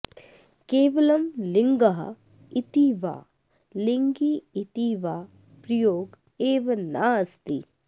केवलं लिङ्गः इति वा लिङ्गी इति वा प्रयोग एव नास्ति